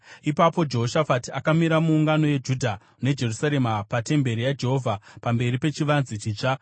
Ipapo Jehoshafati akamira muungano yeJudha neJerusarema patemberi yaJehovha pamberi pechivanze chitsva,